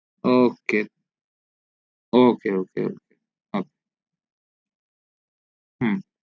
ok ok ok ok who